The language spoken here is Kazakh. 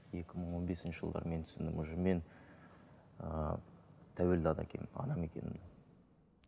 екі мың он бесінші жылдары мен түсіндім уже мен ыыы тәуелді адам екенімді